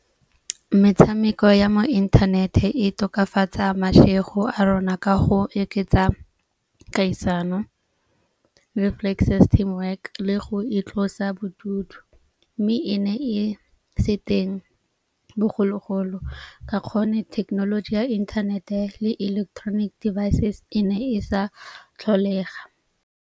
Metshameko ya mo internet-e e tokafatsa matshelo a rona ka go oketsa kgaisano le work le go itlosa bodutu. Mme e ne e se teng bogologolo ka kgone thekenoloji ya internet-e le electronic devices e ne e sa tlholega.